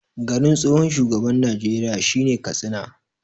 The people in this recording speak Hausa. Garin tsohon shugaban Najeriya shine Katsina